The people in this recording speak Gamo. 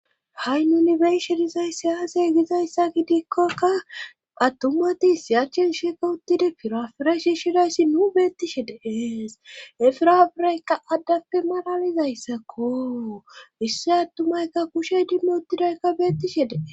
Ha7i nunibeyshe dizay siyaasey gizayssa gidikkokka attumatis sharchen sheeka uttide pirafirashi shidayssi nuu beettishe dees efirabiraykka addappe maralizayssakko isse attumaykka kushey dimmo uttidaykka beettishe dees.